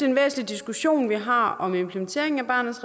en væsentlig diskussion vi har om implementeringen af barnets